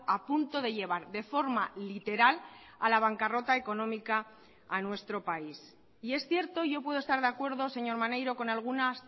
a punto de llevar de forma literal a la bancarrota económica a nuestro país y es cierto yo puedo estar de acuerdo señor maneiro con algunas